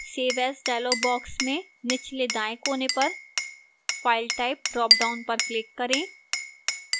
save as dialog box में निचल् दाएं कोने पर file type ड्रापडाउन पर click करें